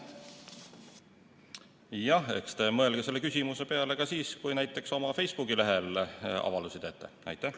Jah, eks te mõelge selle küsimuse peale ka siis, kui te näiteks oma Facebooki lehel avaldusi teete.